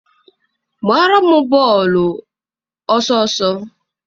gbaara m bọọlụ! ọsọọsọ!